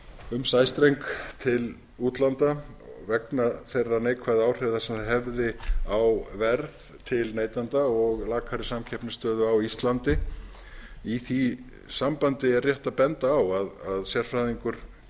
um sæstreng til útlanda vegna þeirra neikvæðu áhrifa sem það hefði á verð til neytenda og lakari samkeppnisstöðu á íslandi í því sambandi er rétt að benda á að sérfræðingur